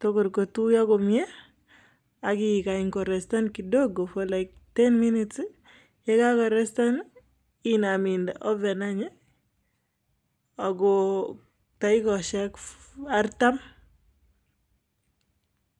tugul kotuyo komie, akikany korestan kidogo for like ten minutes ye kakoreten inam inde oven anyon ako dakikoshek artam.